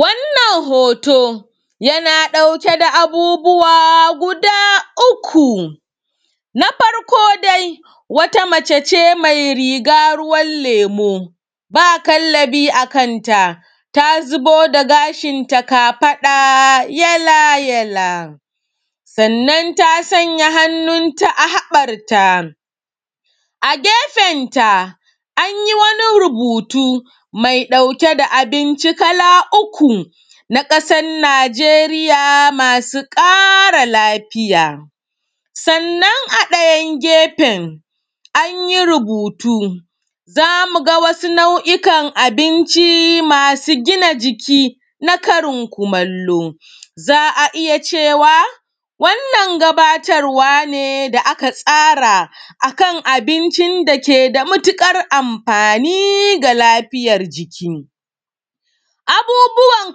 Wannan hooto yana ɗauke da abubuwa gudaa uku, na farko dai wata mace ce mai riga ruwan leemo, ba kallabi a kan ta, ta zubo da gashinta kafaɗa yala-jala, sannan ta sanya hannunta a haɓarta, a gefenta an yi wani rubutu mai ɗauke da abinci kala uku na ƙasan Najeriya masu ƙara lafiya. Sannan a ɗayan gefen, an yi rubutu za mu ga wasu nau'ikan abinci masu gina jiki na karin kumallo, za a iya cewa, wannan gabatarwa ne da aka tsara a kan abincin da ke da matuƙar amfaani ga lafiyar jiki. Abubuwan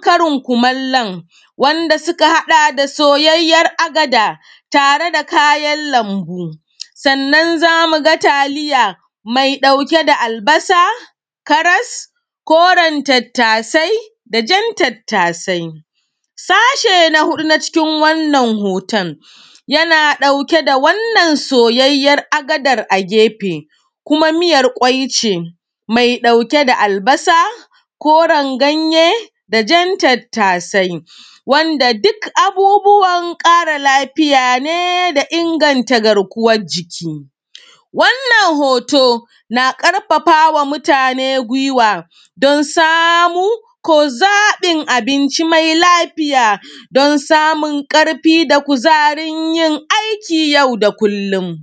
karin kumallon wanda suka haɗa da soyayyar agada tare da kayan lambu, sannan za mu ga taliya mai ɗauke da albasa, karas, koren tattasai, da jan tattasai. Sashe na huɗu na cikin wannan hooton, yana ɗauke da wannan sojajjar agadar a geɸe kuma mijar ƙʷai ʧe, mai ɗauke da albasa, kooren ganye, da jan tattasai, wanda duk abubuwan ƙara lafiya ne da inganta garkuwaj jiki. Wannan hooto na ƙarfafa ma mutane guiwa don samu ko zaɓin abinci mai lafiya don samun ƙarfi da kuzarin yin aiki yau da kullum.